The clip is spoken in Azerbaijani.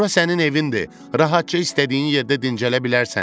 Bura sənin evindir, rahatca istədiyin yerdə dincələ bilərsən.